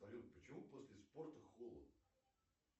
салют почему после спорта холодно